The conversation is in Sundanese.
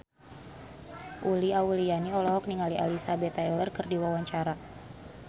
Uli Auliani olohok ningali Elizabeth Taylor keur diwawancara